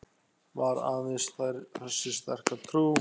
Var aðeins þessi sterka trú